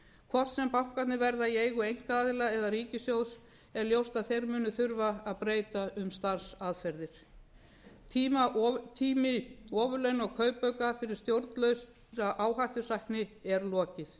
hvort sem bankarnir verða í eigu einkaaðila eða ríkissjóðs er ljóst að þeir munu þurfa að breyta um starfsaðferðir tími ofurlauna og kaupauka fyrir stjórnlausa áhættusækni er lokið